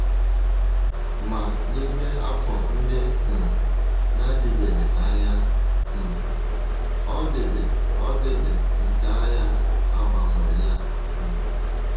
Ma n’ime afọ ndị um na - adịbeghị anya um, ọdịdị ọdịdị nke agha agbanweela. um